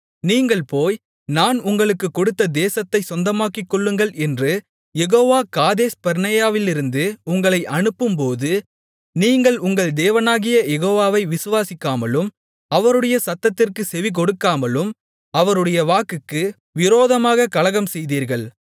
நீங்கள் போய் நான் உங்களுக்குக் கொடுத்த தேசத்தைச் சொந்தமாக்கிக்கொள்ளுங்கள் என்று யெகோவா காதேஸ்பர்னேயாவிலிருந்து உங்களை அனுப்பும்போது நீங்கள் உங்கள் தேவனாகிய யெகோவாவை விசுவாசிக்காமலும் அவருடைய சத்தத்திற்குச் செவிகொடுக்காமலும் அவருடைய வாக்குக்கு விரோதமாகக் கலகம்செய்தீர்கள்